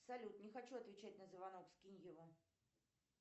салют не хочу отвечать на звонок скинь его